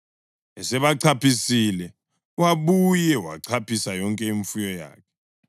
Esebachaphisile wabuye wachaphisa yonke imfuyo yakhe.